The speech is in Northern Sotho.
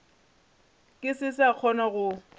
ke se sa kgona go